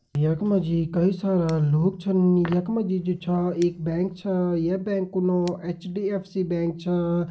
यख मा जी कई सारा लोग छन यख मा जी जु छा एक बैंक छा य बैंक कु नौ एच.डि.एफ.सी. बैंक छा।